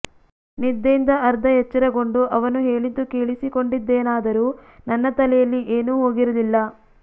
ನಿದ್ದೆಯಿಂದ ಅರ್ಧ ಎಚ್ಚರಗೊಂಡು ಅವನು ಹೇಳಿದ್ದು ಕೇಳಿಸಿಕೊಂಡಿದ್ದೆನಾದರೂ ನನ್ನ ತಲೆಯಲ್ಲಿ ಏನೂ ಹೋಗಿರಲಿಲ್ಲ